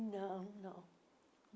Não, não.